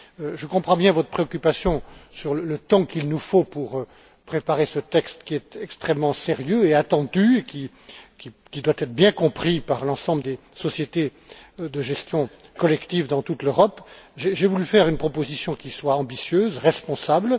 Je comprends bien votre préoccupation concernant le temps qu'il nous faut pour préparer ce texte extrêmement sérieux et attendu, et qui doit être bien compris par l'ensemble des sociétés de gestion collective dans toute l'Europe. J'ai voulu faire une proposition qui soit ambitieuse et responsable.